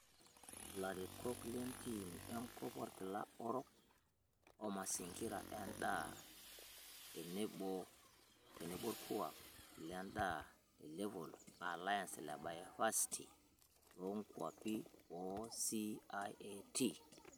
Larikok lenteam enkop orkila orok, oo masingira endaa, teneboorkuak lendaata le level alliance le Bioversity loonkwapi oo CIAT